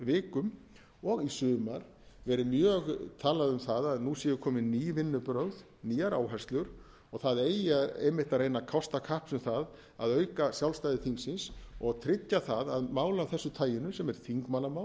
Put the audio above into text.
vikum og í sumar verið mjög talað um það að nú sé komin ný vinnubrögð nýjar áherslur og það eigi einmitt að reyna að kosta kapps um það að auka sjálfstæði þingsins og tryggja það að mál af þessu taginu sem er þingmannamál